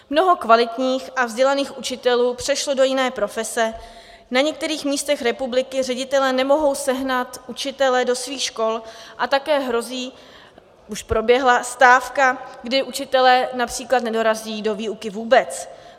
Mnoho kvalitních a vzdělaných učitelů přešlo do jiné profese, na některých místech republiky ředitelé nemohou sehnat učitele do svých škol a také hrozí - už proběhla - stávka, kdy učitelé například nedorazí do výuky vůbec.